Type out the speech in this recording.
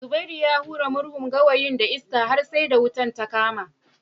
Zubairu ya hura murhun gawayin da iska har sai da wuta ta kama